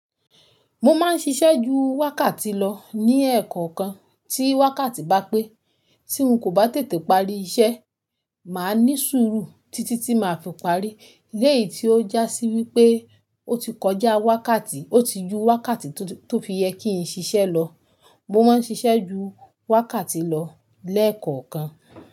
Mo máa ń ṣiṣẹ́ ju wákàtí lọ ní ẹ̀kọ̀okan tí wákàtí bá pé. Tí n kò bá tètè parí iṣẹ́, màá ní sùúrù títí tí màá fi parí. Léyìí tí ó jásí wípé ó ti kọjá wákàtí, ó ti ju wákàtí tó fi yẹ kí n ṣiṣẹ́ lọ. Mo máa ń ṣiṣẹ́ ju wákàtí lọ léẹ̀kọ̀kan.